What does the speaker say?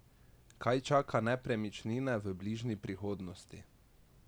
Kaj čaka nepremičnince v bližnji prihodnosti?